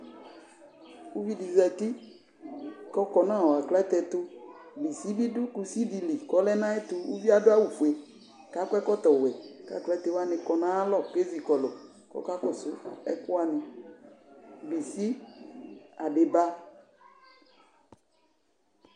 Ʋviɖi zati k'ɔkɔ nʋ aklate ɛtʋBisibiɖʋ, kusi biɖʋ kusiɖili k'ɔlɛ n'ayɛtʋƲvie aɖʋ awu fue k'akɔ ɛkɔtɔ wuɛK'aklatewuni kɔ n'ayalɔ kʋ ezikɔlʋ k'ɔkakɔsu ɛkʋwuni: bisi, adiba,